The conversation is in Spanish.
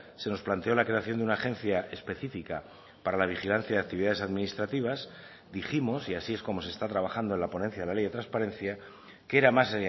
se nos planteó la creación de una agencia específica para la vigilancia de actividades administrativas dijimos y así es como se está trabajando en la ponencia de la ley de transparencia que era más